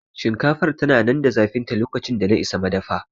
Shinkafar tana nan da zafinta lokacin da na isa madafa